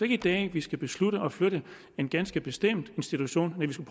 i dag vi skal beslutte at flytte en ganske bestemt institution næh vi skal